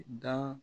Dan